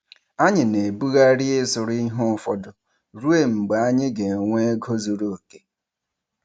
Anyị na-ebugharị ịzụrụ ihe ụfọdụ ruo mgbe anyị ga-enwe ego zuru oke.